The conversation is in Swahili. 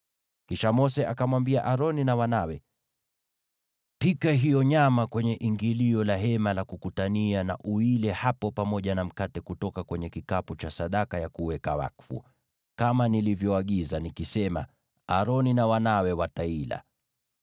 Kisha Mose akamwambia Aroni na wanawe, “Pika hiyo nyama kwenye ingilio la Hema la Kukutania, na uile hapo pamoja na mkate kutoka kwenye kikapu cha sadaka ya kuweka wakfu, kama nilivyoagiza, nikisema, ‘Aroni na wanawe wataila.’